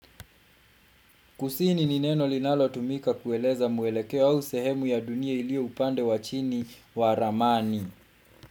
Kusini ni neno linalotumika kueleza mwelekeo au sehemu ya dunia iliyo upande wa chini wa ramani.